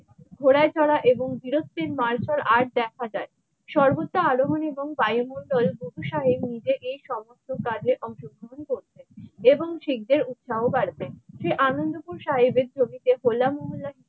ঘোড়ায় চড়া এবং বীরত্বের মার্শাল আর্ট দেখা যায় সর্বত্র আলোড়ন এবং বায়ুমণ্ডল বহুসারের নিজেকে সব রকম কাজে অংশগ্রহণ করতেন । এবং শিখদের উৎসাহ বাতেন। যে আনন্দপুর সাহেবের ছবিতে হলামহল্লা।